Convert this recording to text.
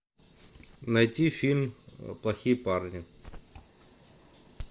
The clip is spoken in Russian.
найти фильм плохие парни